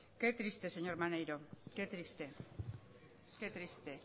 qué triste señor maneiro qué triste qué triste